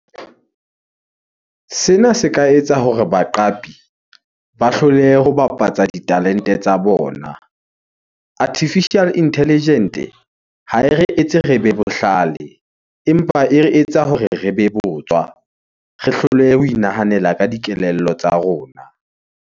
Sena se ka etsa hore baqapi ba hlolehe ho bapatsa ditalente tsa bona. Artificial intelligent-e ha e re etse re be bohlale empa e re etsa hore re be botswa. Re hlolehe ho inahanela ka dikelello tsa rona.